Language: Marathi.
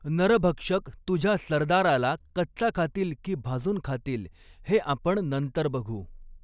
नरभक्षक तुझ्या सरदाराला कच्चा खातील की भाजून खातील हे आपण नंतर बघू.